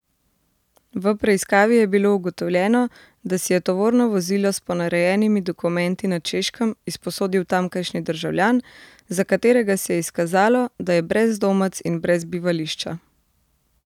V preiskavi je bilo ugotovljeno, da si je tovorno vozilo s ponarejenimi dokumenti na Češkem izposodil tamkajšnji državljan, za katerega se je izkazalo, da je brezdomec in brez bivališča.